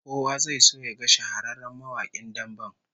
Kowa zai so yaga shahararren mawakin damben